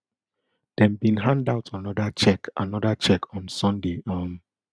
dem bin hand out anoda cheque anoda cheque on sunday um